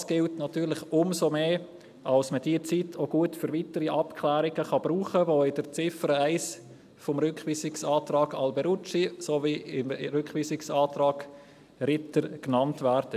Dies gilt natürlich umso mehr, da man diese Zeit auch gut für die weiteren Abklärungen brauchen kann, die in der Ziffer 1 des Rückweisungsantrags Alberucci sowie im Rückweisungsantrag Ritter genannt werden.